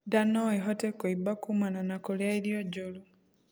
Ndaa noĩhote kuimba kumana na kurĩa irio njuru